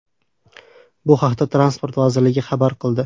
Bu haqda Transport vazirligi xabar qildi .